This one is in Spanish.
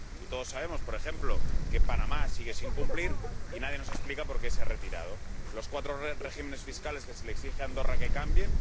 Todos sabemos, por ejemplo, que Panamá sigue sin cumplir, y nadie nos explica por qué se ha retirado. O los cuatro regímenes fiscales que se le exige a Andorra que cambie...